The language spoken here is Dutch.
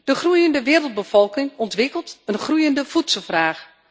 De groeiende wereldbevolking ontwikkelt een groeiende voedselvraag.